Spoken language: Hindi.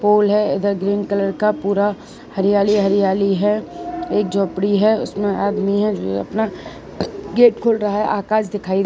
पूल है इधर ग्रीन कलर का पूरा हरियाली हरियाली है एक झोपड़ी है उसमें आदमी है जो ये अपना गेट खोल रहा है आकाश दिखाई--